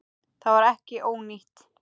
Það var ekki ónýtt.